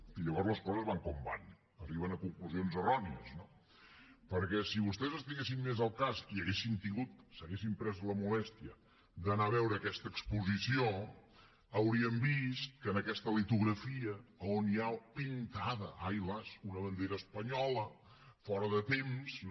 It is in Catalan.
i llavors les coses van com van arriben a conclusions errònies no perquè si vostès estiguessin més al cas i s’haguessin pres la molèstia d’anar a veure aquesta exposició haurien vist que en aquesta litografia on hi ha pintada ai las una bandera espanyola fora de temps no